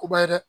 O ba ye dɛ